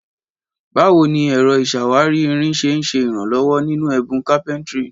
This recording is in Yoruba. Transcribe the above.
Báwo ni ẹ̀rọ ìṣàwárí irin ṣe ń ṣe ìrànlọ́wọ́ nínú ẹ̀bùn carpentry?